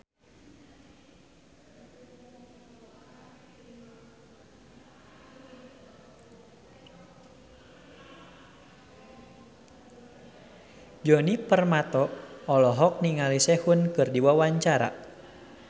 Djoni Permato olohok ningali Sehun keur diwawancara